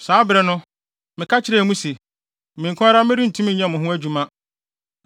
Saa bere no, meka kyerɛɛ mo se, “Me nko ara merentumi nyɛ mo ho adwuma.